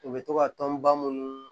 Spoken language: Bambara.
U bɛ to ka tɔnba munnu